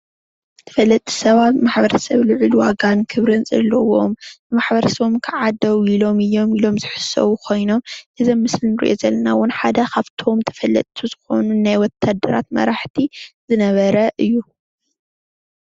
ተፈለጥቲ ሰባት ማሕበረ ሰብ ልዑል ዋጋን ክብርን ዘለዎም ማሕበረ ሰቦም ከዓ ደው ኢሎም እዮም ኢሎም ዝሕሰቡ ኮይኖም እዚ ኣብ ምስሊ እንሪኦ ዘለና እውን ሓደ ካብቲ እቶም ተፈለጥቲ ዝኮኑ ናይ ወታደራት መራሕቲ ዝነበረ እዩ፡፡